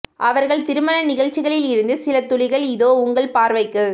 அவர்கள் திருமண நிகழ்ச்சிகளில் இருந்து சில துளிகள் இதோ உங்கள் பார்வைக்கு